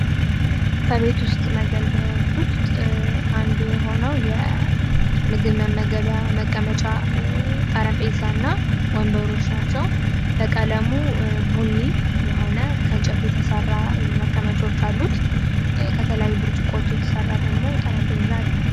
ከቤት ውስጥ መገልገያዎች ውስጥ አንዱ የሆነው የምግብ መመገብያ መቀመጫ ጠረጴዛና ወንበሩ በቀለሙ ቡኒ የሆነ ከእንጨት የተሰራ መቀመጮች አሉት። ብርጭቆ የተሰራ ደግሞ ጠረጴዛ አለ።